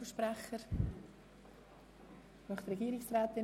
– Das ist nicht der Fall.